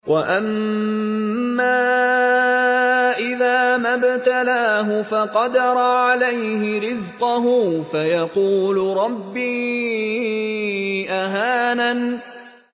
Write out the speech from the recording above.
وَأَمَّا إِذَا مَا ابْتَلَاهُ فَقَدَرَ عَلَيْهِ رِزْقَهُ فَيَقُولُ رَبِّي أَهَانَنِ